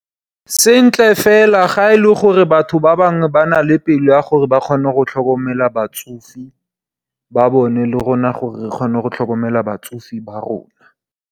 Sentle fela, ga e le gore batho ba bangwe ba na le pelo ya gore ba kgone go tlhokomela batsofe ba bone, le rona gora re kgona go tlhokomela batsofe ba rona.